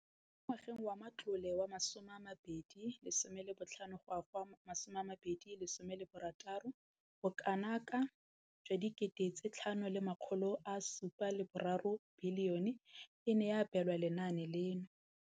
Mo ngwageng wa matlole wa 2015,16, bokanaka R5 703 bilione e ne ya abelwa lenaane leno.